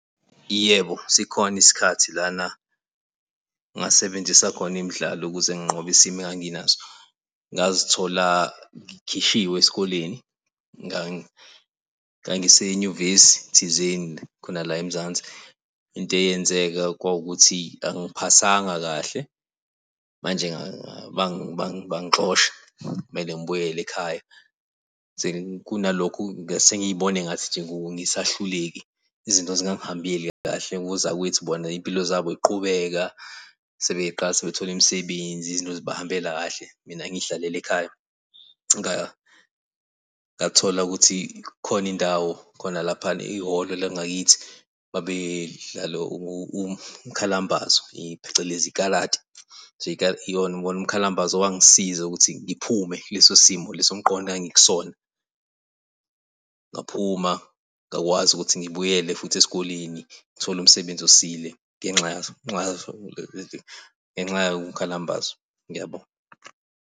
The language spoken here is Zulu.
Yebo sikhona isikhathi lana engasebenzisa khona imidlalo ukuze nginqobe isimo enganginaso ngazithola zikhishiwe esikoleni. Ngangisenyuvesi thizeni khona la eMzansi. Into eyenzeka kwawukuthi angiphasanga kahle manje bangixosha kwamele ngibuyele ekhaya kunalokho bese ngibona ngathi ngisahluleki. Izinto zingangihameli kahle nozakwethu ngibona izimpilo zabo ziqhubeka sebeqala bethola imisebenzi, izinto zibahambela kahle. Mina ngiy'hlalele ekhaya ngathola ukuthi kukhona indawo khona laphayana eyihholo langakithi babedlala umkhalambazo, phecelezi ikalati nje iwona umkhalambazo owangisiza ukuthi ngiphume kuleso isimo leso somqondo engangikusona ngaphuma ngakwazi ukuthi ngibuyele futhi esikoleni ngithole umsebenzi osile ngenxa ngenxa yawo umkhalambazo. Ngiyabonga.